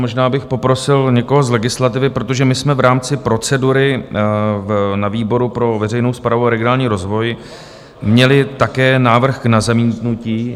Možná bych poprosil někoho z legislativy, protože my jsme v rámci procedury na výboru pro veřejnou správu a regionální rozvoj měli také návrh na zamítnutí.